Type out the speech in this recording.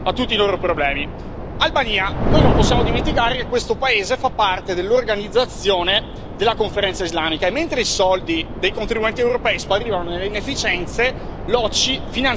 Albania, noi non possiamo dimenticare che questo paese fa parte dell'Organizzazione della Conferenza islamica, mentre i soldi dei contribuenti europei sparivano nelle inefficienze, l'OCI finanziava le scuole coraniche.